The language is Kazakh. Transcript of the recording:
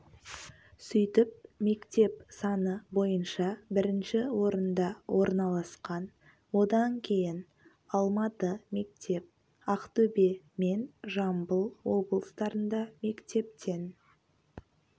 сөйтіп мектеп саны бойынша бірінші орында орналасқан одан кейін алматы мектеп ақтөбе мен жамбыл облыстарында мектептен